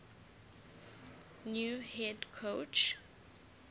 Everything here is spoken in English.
new head coach